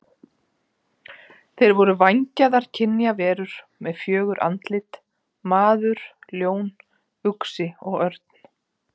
Þeir voru vængjaðar kynjaverur með fjögur andlit: maður, ljón, uxi og örn.